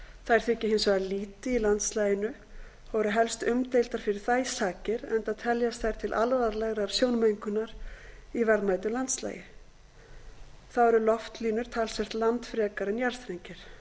þær þykja hins vegar lýti í landslaginu og eru helst umdeildar fyrir þær sakir enda teljast þær til alvarlegrar sjónmengunar í verðmætu landslagi þá eru loftlínur talsvert landfrekari en jarðstrengir